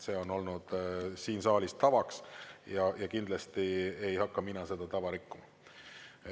See on olnud siin saalis tavaks ja mina kindlasti ei hakka seda tava rikkuma.